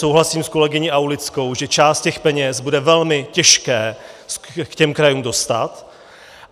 Souhlasím s kolegyní Aulickou, že část těch peněz bude velmi těžké k těm krajům dostat.